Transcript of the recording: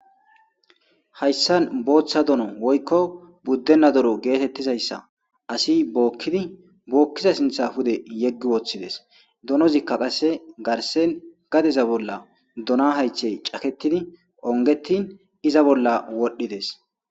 Hayssan bootta dono woykko budenna dono gethethizayssa assi bokidi bokizayssa sinththa pudde yegi wothides. Donozikka qasse garse gadezan bolla dono hayththe cakethidi ongethi izza bolla wodhidess.